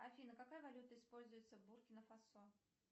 афина какая валюта используется в буркина фасо